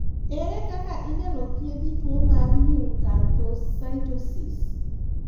Ere kaka inyalo thiethi tuo mar neuroacanthocytosis ?